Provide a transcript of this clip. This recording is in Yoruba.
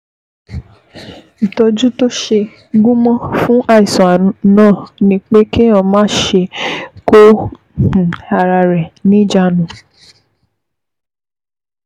Ìtọ́jú tó ṣe gúnmọ́ fún àìsàn náà ni pé kéèyàn máṣe kó um ara rẹ̀ um níjàánu